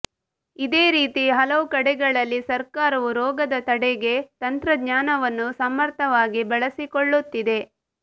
ಇದೇ ರೀತಿ ಹಲವು ಕಡೆಗಳಲ್ಲಿ ಸರ್ಕಾರವು ರೋಗದ ತಡೆಗೆ ತಂತ್ರಜ್ಞಾನವನ್ನು ಸಮರ್ಥವಾಗಿ ಬಳಸಿಕೊಳ್ಳುತ್ತಿದೆ